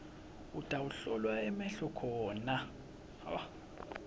utawuhlolwa emehlo khona